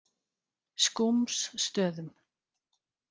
Skúmsstöðum